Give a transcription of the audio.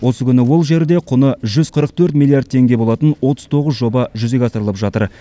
осы күні ол жерде құны жүз қырық төрт миллиард теңге болатын отыз тоғыз жоба жүзеге асырылып жатыр